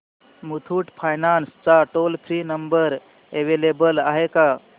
Muthoot finance चा toll free number available आहे का